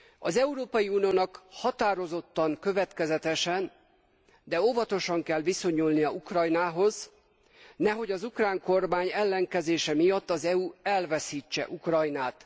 Az Európai Uniónak határozottan, következetesen, de óvatosan kell viszonyulnia Ukrajnához, nehogy az ukrán kormány ellenkezése miatt az EU elveszítse Ukrajnát.